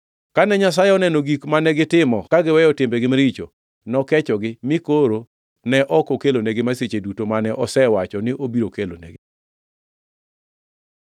Kane Nyasaye oneno gik mane gitimo ka giweyo timbegi maricho, nokechogi mi koro ne ok okelonigi masiche duto mane osewacho ni obiro kelo nigi.